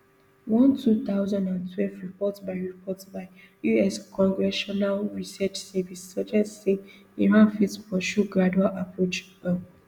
one two thousand and twelve report by report by us congressional research service suggest say iran fit pursue gradual approach um